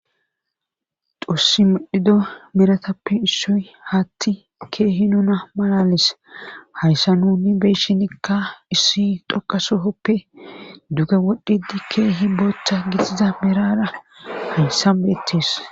xossi midhido miratappe issoy haatti keehi nuna malalis hayssa nuni beyshinikka issi doqasohoppe duuge wodhdhidi keehi booththa gixiza miraara haysan beettes